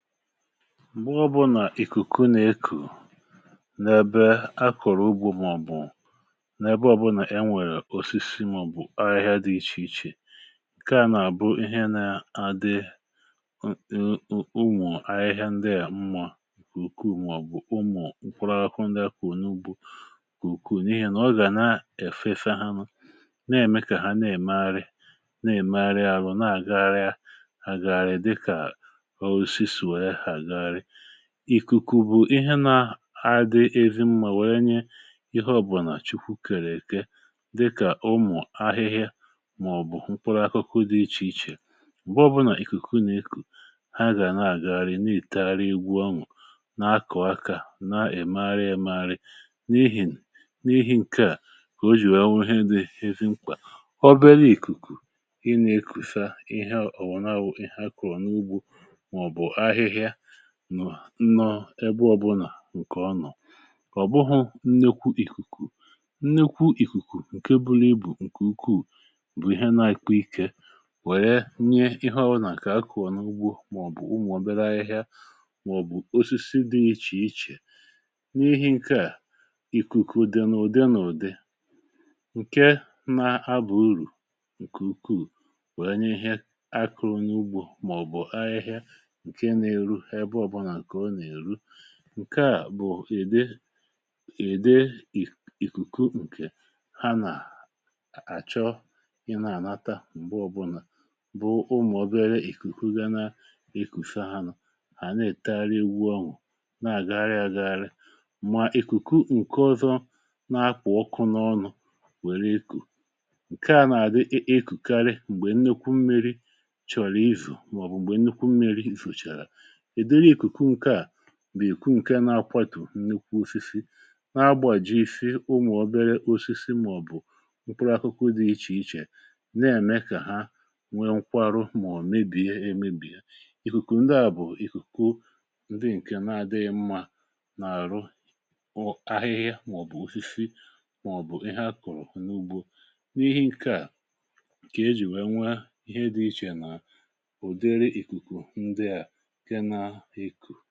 M̀gbè ọ̇bụ̇ nà ìkùkù nà-ekù n’ebe akụ̀rụ̀ ugwu̇, màọ̀bụ̀ n’ebe ọ̀bụlà e nwèrè osisi màọ̀bụ̀ ahịhịa dị iche iche, nke à nà-abụ ihe nà-adịrị ụmụ̀ ahịhịa ndị à mmà. Ìkùkù nà, ọ̀bụ̀ ụmụ̀ nkwụrụ akụ̇ n’ugbò, kùkù n’ihi nà ọ gà na-èfefe ha nụ̇, na-ème kà ha na-èmalị, na-èmalị ahụhụ̀, na-àga ree àgàrị. Ìkùkù bụ̀ ihe nà-adịrị ezi mmà, um wèe nye ihe ọbụ̀nà Chukwu kèrè èke, dịkà ụmụ̀ ahịhịa màọ̀bụ̀ mkpụrụ akụkụ dị iche iche. M̀gbọ bụ nà ìkùkù nà-ikù, ha gà na-àgharị, na-ètagharị,.. ìgbu anwụ̇, na-akọ̀ aka, na-èmarị èmarị n’ihìn n’ihìn. Nke à kà o jì anwụ̇, ihe dị ezi mkpà. Ọ béré, ìkùkù ị nà-ekùsa ihe ọ̀wụ̀na-awụ̀, ị hà kọ̀rọ̀ n’ugbò nọ̀, ebe ọ̇bụ̇nà nke ọnọ̀, ọ̀ bụhụ̇ nnekwu ìkùkù. um Nnekwu ìkùkù, nke bụrụ ibù, nke ukwuù, bụ̀ ihe na-àkwa ike, wèe nye ihe ọbụ̇nà kà a kụ̀ọ n’ugbȯ, màọ̀bụ̀ ụmụ̀ ọ̀bịara ahịhịa màọ̀bụ̀ osisi dị iche iche. N’ihi nke à, ìkùkù n’ụ̀dị, n’ùde, n’ụ̀dị nke na-abụ̀ uru nke ukwuù, wèe nye ihe akụ̇rụ̇ n’ugbò. Nke à bụ̀ ị̀dị, ị̀dị ìkùkù, nke ha nà-àchọ ịna-ànata. N’ùgbè ọbụnà, bụ̀ ụmụ̀ obere ìkùkù, gà na-ikùfe ha nọ̇, hà na-ètara iwu̇ um ọnwụ̀, na-àgagharị agharị. Mma ìkùkù nke ọzọ na-akwụ ọkụ n’ọnụ̀... nwèrè ikù, nke à nà-àgụ ìkùkùrù. M̀gbè nnekwu mmi̇ri chọ̀rọ̀ izù, mà ọ̀ bụ̀ m̀gbè nnekwu mmi̇ri ìfùchàrà bìkù um nke na-akwàtò nnukwu ufịfịị, na-agbàji isi ụmụ̀ obere osịsị màọ̀bụ̀ mkpụrụ akụkụ dị iche iche, na-ème kà ha nwee nkwarụ, màọ̀bụ̀ mebìe emìbì ha. Ìkùkù ndị à bụ̀ ìkùkù ndị nke na-adịghị mmà n’àrụ ahịhịa, màọ̀bụ̀ ufịfị, màọ̀bụ̀ ihe a kọ̀rọ̀ n’ugbò. N’ihe nke à, ejì wee nwe ihe dị iche nà ìkù.